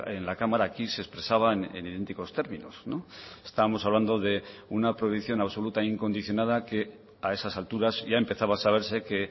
en la cámara aquí se expresaba en idénticos términos estábamos hablando de una prohibición absoluta e incondicionada que a esas alturas ya empezaba a saberse que